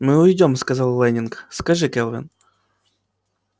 мы уйдём сказал лэннинг скажи кэлвин